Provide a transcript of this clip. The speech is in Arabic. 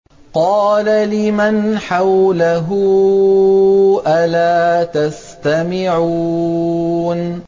قَالَ لِمَنْ حَوْلَهُ أَلَا تَسْتَمِعُونَ